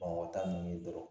Bamakɔ tan nunnu dɔrɔn